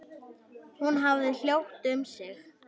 Hún hafði hljótt um sig.